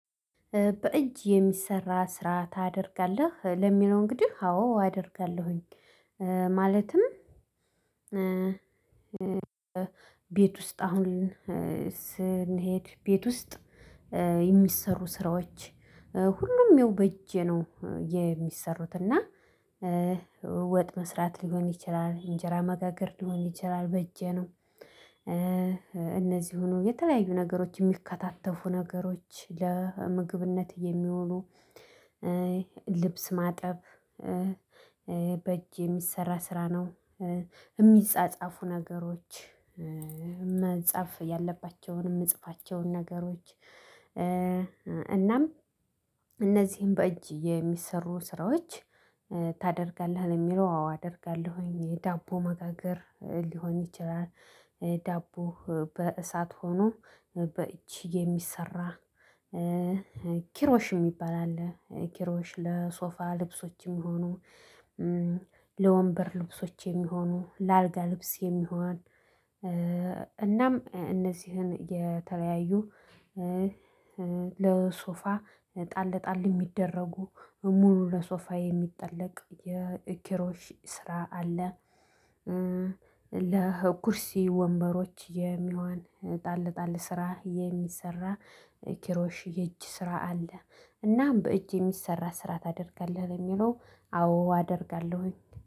በእጅ የሚሰራ ስራ ታደርጋለህ ለሚለው እንግዲህ አዎ አደርጋለሁኝ ማለትም ቤት ውስጥ አሁን ስንሄድ ቤት ውስጥ የሚሰሩ ስራዎች ሁሉም ይው በእጄ ነው የሚሰሩት እና ወጥ መስራት ሊሆን ይችላል እንጀራ መጋገር ሊሆን ይችላል በእጄ ነው እነዚህ ሆኖ የተለያዩ ነገሮች የሚከታተፉ ነገሮች ለምግብነት የሚሆኑ ልብስ ማጠብ በእጅ የሚሰራ ስራ ነው የሚጻጻፉ ነገሮች መጻፍ ያለባቸውን የምጽፋቸውን ነገሮች እናም እነዚህን በእጅ የሚሰሩ ስራዎች ታደርጋለህ ነው የሚለው አዎ አደርጋለሁኝ የዳቦ መጋገር ሊሆን ይችላል ዳቦ በእሳት ሆኖ በእቺ የሚሰራ ኪሮሽ የሚባል አለ ኪሮሽ ለሶፋ ልብሶች የሚሆኑ ለወንበር ልብሶች የሚሆኑ ለአልጋ ልብስ የሚሆን እናም እነዚህን የተለያዩ ለሶፋ ጣል ጣል የሚደረጉ ሙሉ ለሶፋ የሚጠለቅ የኪሮሽ ስራ አለ ለኩርሲ ወንበሮች የሚሆን ጣል ጣል ስራ የሚሰራ ኪሮሽ የእጅ ስራ አለ እና በእጅ የሚሰራ ስራ ታደርጋለህ ለሚለው አዎ አደርጋለሁኝ።